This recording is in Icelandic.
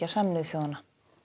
Sameinuðu þjóðanna